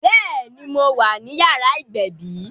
Béèni, mo wà ní yàrá ìgbẹ̀bí